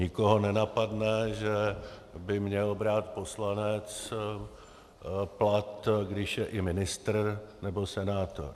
Nikoho nenapadne, že by měl brát poslanec plat, když je i ministr nebo senátor.